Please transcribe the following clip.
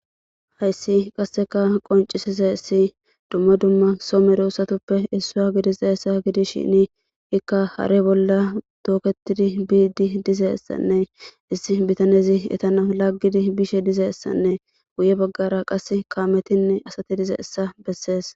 hayssi qasseka qoncisizayissi dumma dumma somero usatuppe issuwa gididayisa gidishini ikka hare bolla tooketidi biidi dizayissanne issi bitanezi etana laggidi bishe dizayissanne guye baggara qas kaametinne asati dizayissa bessees